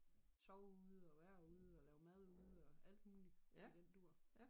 Sove ude og være ude og lave mad ude og alt muligt i den dur